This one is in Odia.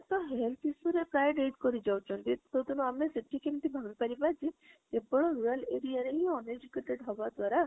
ତ health issue ରେ ପ୍ରାଯ କରି ଯାଉଛନ୍ତି କୋଉଦିନ ଅଆମେ ସେଠୀ କେମିତି ପାରିବ ଯେ କେବଳ rural area ରେ ହି uneducated ହବ ଦ୍ବାରା